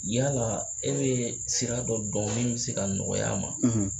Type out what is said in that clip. Yala e bɛ sira dɔ dɔn min bɛ se ka nɔgɔya a ma.